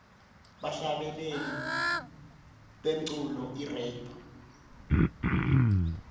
bahlabeleli bemculo irap